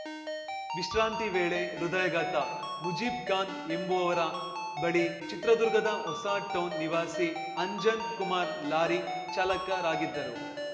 ವಿಶ್ರಾಂತಿ ವೇಳೆ ಹೃದಯಘಾತ ಮುಝೀಬ್‌ ಖಾನ್‌ ಎಂಬುವವರ ಬಳಿ ಚಿತ್ರದುರ್ಗದ ಹೊಸ ಟೌನ್‌ ನಿವಾಸಿ ಅಂಜನ್‌ ಕುಮಾರ್‌ ಲಾರಿ ಚಾಲಕರಾಗಿದ್ದರು